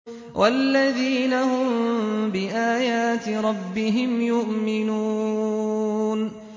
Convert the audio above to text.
وَالَّذِينَ هُم بِآيَاتِ رَبِّهِمْ يُؤْمِنُونَ